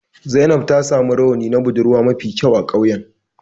Zainab ta samu rawani na budurwa mafi kyau a ƙauyen.